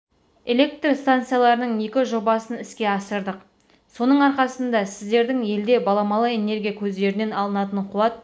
электр станцияларының екі жобасын іске асырдық соның арқасында сіздердің елде баламалы энергия көздерінен алынатын қуат